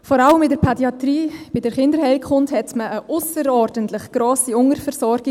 Vor allem in der Pädiatrie, in der Kinderheilkunde, hat man zurzeit eine ausserordentlich hohe Unterversorgung.